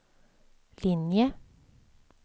linje